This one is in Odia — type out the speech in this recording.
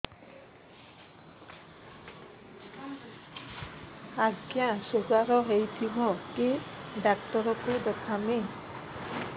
ଆଜ୍ଞା ଶୁଗାର ହେଇଥିବ କେ ଡାକ୍ତର କୁ ଦେଖାମି